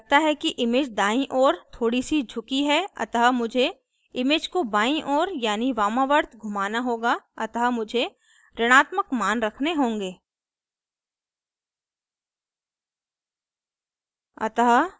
मुझे लगता है कि image दायीं ओर थोड़ी सी झुकी है अतः मुझे image को बायीं ओर यानी वामावर्त घुमाना होगा अतः मुझे ऋणात्मक image रखने होंगे